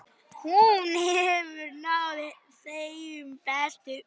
Hún hefur náð þeim bestu.